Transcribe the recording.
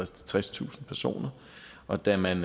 tredstusind personer og da man